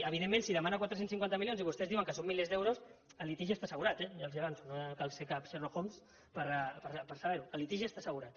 evidentment si demana quatre cents i cinquanta milions i vostès diuen que són milers d’euros el litigi està assegurat ja els ho avanço no cal ser cap sherlock holmes per saber ho el litigi està assegurat